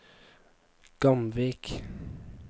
Gamvik